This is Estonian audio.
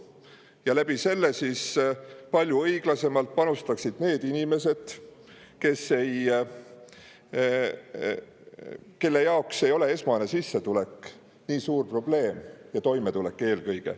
Seeläbi panustaksid palju õiglasemalt need inimesed, kelle jaoks ei ole toimetulek nii suur probleem.